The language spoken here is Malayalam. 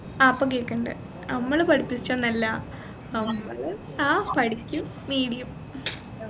ആ ഇപ്പൊ കേക്കുന്നുണ്ട് അമ്മൾ പഠിപ്പിച്ചൊന്നുമല്ല അമ്മൾ ആ പഠിക്കും medium